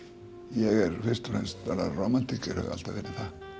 ég er fyrst og fremst rómantíker hef alltaf verið